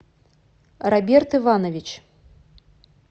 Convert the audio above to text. роберт иванович